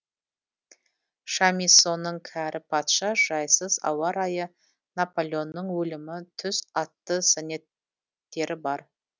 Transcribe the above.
шамиссоның кәрі патша жайсыз ауа райы наполеонның өлімі түс атты сонеттері бар